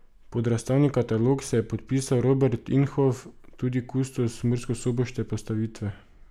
Pod razstavni katalog se je podpisal Robert Inhof, tudi kustos murskosoboške postavitve.